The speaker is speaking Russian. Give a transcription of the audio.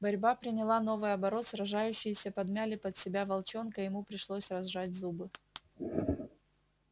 борьба приняла новый оборот сражающиеся подмяли под себя волчонка и ему пришлось разжать зубы